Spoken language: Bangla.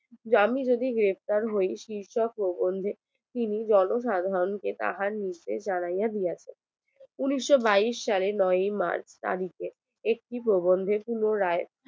যে আমি যদি গ্রেফতার হয় শীর্ষ প্রবন্ধে জন সাধারণ কে তাহার নির্দেশ জানাইয়া দিয়া উনিশশো বাইয়িস সালে নয় মার্চ তারিখে একটি প্রবন্ধের পুনরায়